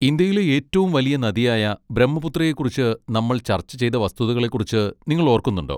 ഇന്ത്യയിലെ ഏറ്റവും വലിയ നദിയായ ബ്രഹ്മപുത്രയെ കുറിച്ച് നമ്മൾ ചർച്ച ചെയ്ത വസ്തുതകളെക്കുറിച്ച് നിങ്ങൾ ഓർക്കുന്നുണ്ടോ?